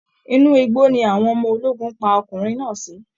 Inú igbó ni àwọn ọmọ ológun pa ọkùnrin náà sí